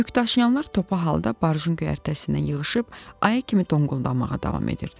Yükdaşıyanlar topa halda barjın göyərtəsindən yığışıb aya kimi donquldanmağa davam edirdilər.